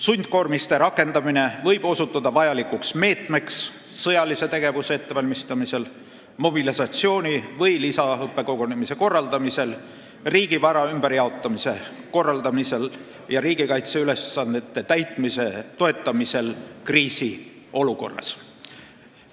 Sundkoormiste rakendamine võib osutuda vajalikuks meetmeks sõjalise tegevuse ettevalmistamisel, mobilisatsiooni või lisaõppekogunemise korraldamisel, riigivara ümberjaotamise korraldamisel ja riigikaitseülesannete täitmise toetamisel kriisiolukorras.